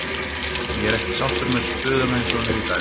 Ég er ekki sáttur með stöðuna eins og hún er í dag.